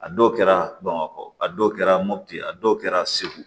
A dɔw kɛra bamakɔ a dɔw kɛra mopti a dɔw kɛra segu